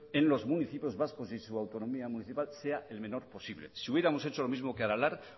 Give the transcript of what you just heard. en los municipios vascos y su autonomía municipal sea el menor posible si hubiéramos hecho lo mismo que aralar